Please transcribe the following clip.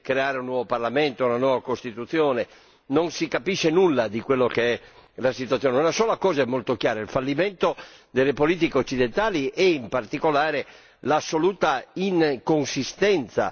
Non si capisce nulla di quella che è la situazione. Una sola cosa è molto chiara il fallimento delle politiche occidentali e, in particolare, l'assoluta inconsistenza della politica dell'Unione europea.